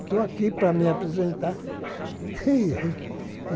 Estou aqui para me apresentar.